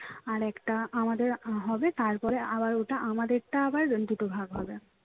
আর একটা আমাদের হবে তারপরে আবার ওটা আমাদেরটা আবার দুটো ভাগ হবে